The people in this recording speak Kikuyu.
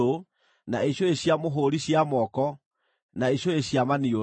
na icũhĩ cia mũhũũri cia moko, na icũhĩ cia maniũrũ,